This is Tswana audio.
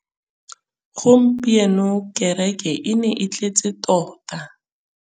Gompieno kêrêkê e ne e tletse tota.